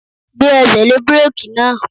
Gbé ẹsẹ̀ lé búrèkì náà!